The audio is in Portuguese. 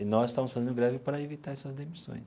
E nós estávamos fazendo greve para evitar essas demissões.